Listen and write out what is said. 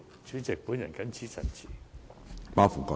主席，本人謹此陳辭。